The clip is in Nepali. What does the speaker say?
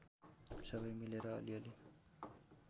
सबै मिलेर अलिअलि